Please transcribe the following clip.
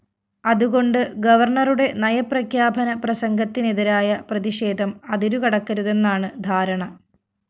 അതുകൊണ്ട് ഗവര്‍ണറുടെ നയപ്രഖ്യാപന പ്രസംഗത്തിനെതിരായ പ്രതിഷേധം അതിരു കടക്കരുതെന്നാണ് ധാരണ